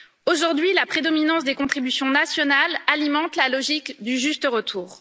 Aujourd'hui, la prédominance des contributions nationales alimente la logique du juste retour.